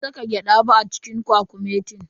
Ban saka gyada ba a cikin kwakumetin.